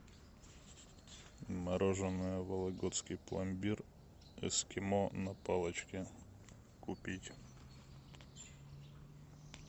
мороженое вологодский пломбир эскимо на палочке купить